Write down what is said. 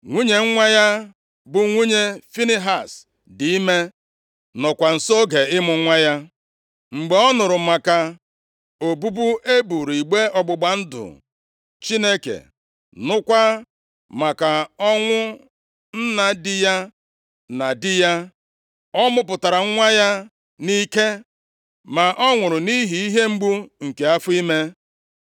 Nwunye nwa ya, bụ nwunye Finehaz, dị ime, nọọkwa nso oge ịmụ nwa ya. Mgbe ọ nụrụ maka obubu e buuru igbe ọgbụgba ndụ Chineke, nụkwa maka ọnwụ nna di ya na di ya, ọ mụpụtara nwa ya nʼike. Ma ọ nwụrụ nʼihi ihe mgbu nke afọ ime.